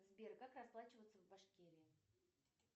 сбер как расплачиваться в башкирии